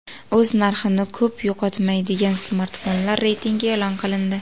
O‘z narxini ko‘p yo‘qotmaydigan smartfonlar reytingi e’lon qilindi.